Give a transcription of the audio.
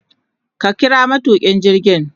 Ka kira matukin jirgin